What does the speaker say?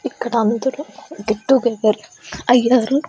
ఇక్కడ అందరూ get together అయ్యారు.